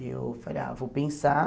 Eu falei, ah, vou pensar.